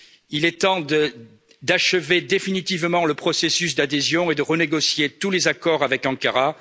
Il est temps d'achever définitivement le processus d'adhésion et de renégocier tous les accords avec Ankara.